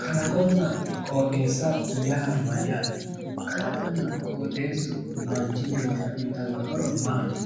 Kalaqonna qoxeessa yaa mayyaate? kalaqonna qoxeessu manchi beettira uyitanno horo maati?